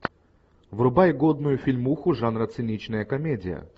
врубай годную фильмуху жанра циничная комедия